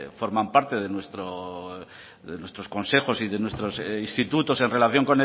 forman parte de nuestros consejos y de nuestros institutos en relación